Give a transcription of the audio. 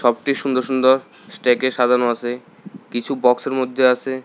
Shop -টি সুন্দর সুন্দর স্ট্যাক -এ সাজানো আসে কিছু বক্স -এর মধ্যে আসে।